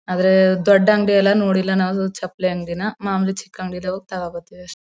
ಆದ್ರೆ ದೊಡ್ ಅಂಗಡಿ ಎಲ್ಲ ನೋಡಿಲ್ಲ ನಾವ್ ಚಪ್ಲಿ ಅಂಗಡಿನ ಮಾಮೂಲಿ ಚಿಕ್ ಅಂಗಡೀಲೇ ಹೊಗ್ ತೊಗೊಂಡ್ ಬರ್ತೀವಿ ಅಷ್ಟೇ.